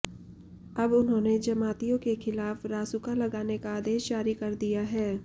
अब उन्होंने जमातियों के खिलाफ रासुका लगाने का आदेश जारी कर दिया है